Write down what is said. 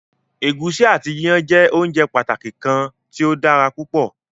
Ẹ̀gúsí ati iyán jẹ óunjẹ pàtàki kan tí o dára púpọ̀.